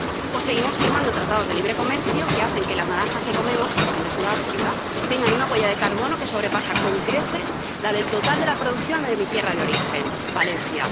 O seguimos firmando tratados de libre comercio que hacen que las naranjas que comemos, que son de Sudáfrica, tengan una huella de carbono que sobrepasa con creces la del total de la producción de mi tierra de origen, Valencia.